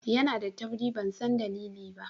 Yana da tauri ban san dalili ba.